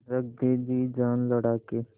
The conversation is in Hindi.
रख दे जी जान लड़ा के